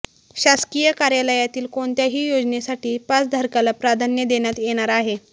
शासकीय कार्यालयातील कोणत्याही योजनेसाठी पासधारकाला प्राधान्य देण्यात येणार आहे